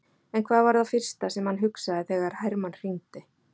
En hvað var það fyrsta sem hann hugsaði þegar Hermann hringdi?